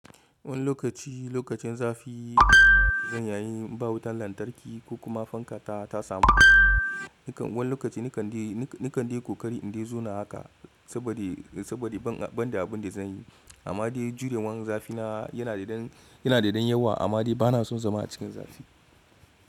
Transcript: Wani lokaci lokacin zafi zan yi, ba wutan lantarki ko kuma fanka ta samu. Wani lokaci ni kande kokari in dai zo na haka saboda saboda ban da abin da zan yi. Amma dai jurewan zafina yana da dan, yana dan yawa amma dai bana son zama a cikin zafi.